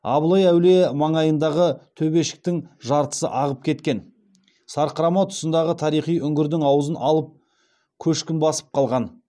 абылай әулие маңайындағы төбешіктің жартысы ағып кеткен сарқырама тұсындағы тарихи үңгірдің аузын алып көшкін басып қалған